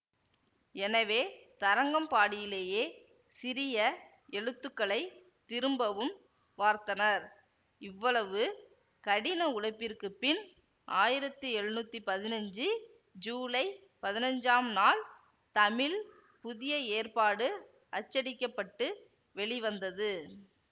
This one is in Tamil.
எனவே தரங்கம்பாடியிலேயே சிறிய எழுத்துக்களை திரும்பவும் வார்த்தனர் இவ்வளவு கடின உழைப்பிற்குப் பின் ஆயிரத்தி எழுநூத்தி பதினஞ்சு ஜூலை பதினஞ்சாம் நாள் தமிழ் புதிய ஏற்பாடு அச்சடிக்கப்பட்டு வெளிவந்தது